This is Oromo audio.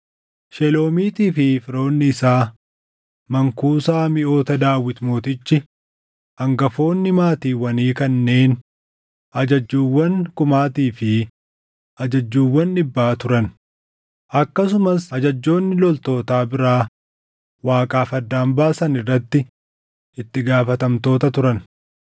Sheloomiitii fi firoonni isaa mankuusaa miʼoota Daawit mootichi, hangafoonni maatiiwwanii kanneen ajajjuuwwan kumaatii fi ajajjuuwwan dhibbaa turan, akkasumas ajajjoonni loltootaa biraa Waaqaaf addaan baasan irratti itti gaafatamtoota turan.